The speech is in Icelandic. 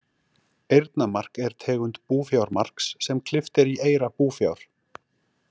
Eyrnamark er tegund búfjármarks sem klippt er í eyra búfjár.